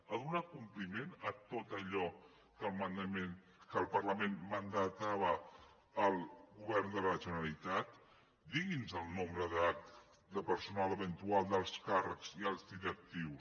ha donat compliment a tot allò que el parlament mandatava al govern de la generalitat digui’ns el nombre de personal eventual d’alts càrrecs i alts directius